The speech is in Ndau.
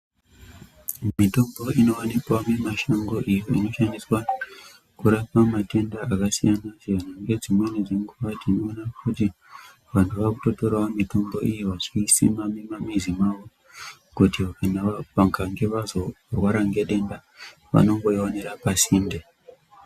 Mitombo inovanika mumashango iyi inoshandiswa kurapa matenda akasiyana-siyana. Ngedzimweni dzenguva tinoona kuti vantu vakutotoravo mitombo iyo vachisima muma mizi mavo kuti kana vakange vazorwara ngedenda vanongoionera pasinde.